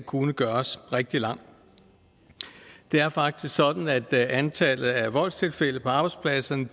kunne gøres rigtig lang det er faktisk sådan at antallet af voldstilfælde på arbejdspladserne